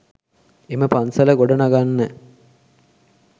එම පන්සල ගොඩ නගන්න